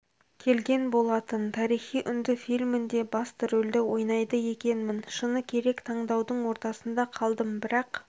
келген болатын тарихи үнді фильмінде басты рөлді ойнайды екенмін шыны керек таңдаудың ортасында қалдым бірақ